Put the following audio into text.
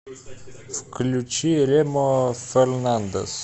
включи ремо фернандес